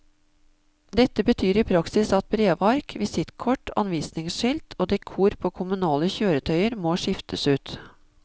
Dette betyr i praksis at brevark, visittkort, anvisningsskilt og dekor på kommunale kjøretøyer må skiftes ut.